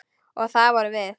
Og það vorum við.